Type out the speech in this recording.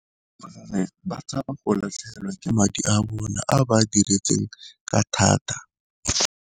Gonne ba tshaba go latlhegelwa ke madi a bona a ba a diretseng ka thata.